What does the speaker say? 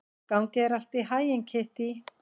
Gangi þér allt í haginn, Kittý.